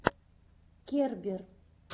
кербер